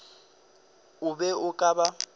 o be o ka ba